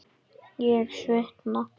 Ég svitna.